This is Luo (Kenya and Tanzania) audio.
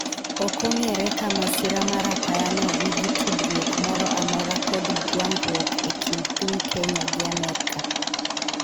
ok ong'ere ka masira mar apaya no nigi tudruok moro amora kod gwanduok e kind piny Kenya gi Amerka